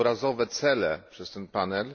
obrazowe cele przez ten panel.